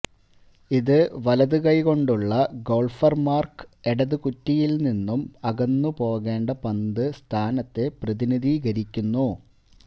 ഇത് വലതു കൈകൊണ്ടുള്ള ഗോൾഫർമാർക്ക് ഇടത് കുറ്റിയിൽ നിന്നും അകന്നുപോകേണ്ട പന്ത് സ്ഥാനത്തെ പ്രതിനിധീകരിക്കുന്നു